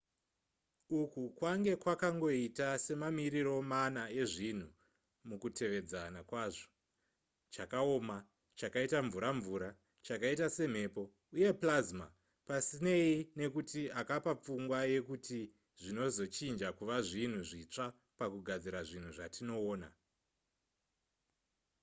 uku kwange kwakangoita semamiriro mana ezvinhu mukutevedzana kwazvo:chakaoma chakaita mvura-mvura chakaita semhepo uye plasma pasinei nekuti akapa pfungwa yekuti zvinozochinja kuva zvinhu zvitsva pakugadzira zvinhu zvatinoona